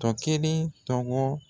Tɔkelen tɔgɔ.